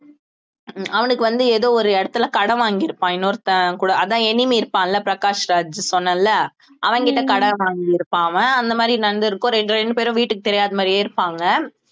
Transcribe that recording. அவனுக்கு வந்து ஏதோ ஒரு இடத்துல கடன் வாங்கியிருப்பான் இன்னொருத்தன் கூட அதான் enemy இருப்பான்ல பிரகாஷ்ராஜ் சொன்னேன்ல அவன்கிட்ட கடன் வாங்கியிருப்பான் அவன் அந்த மாதிரி நடந்து இருக்கும் ரெண்~ ரெண்டு பேரும் வீட்டுக்கு தெரியாத மாதிரியே இருப்பாங்க